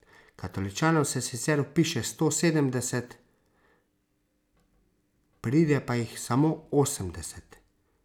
Katoličanov se sicer vpiše sto sedemdeset, pride pa jih samo osemdeset.